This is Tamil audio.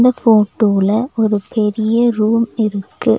போட்டோல ஒரு பெரிய ரூம் இருக்கு.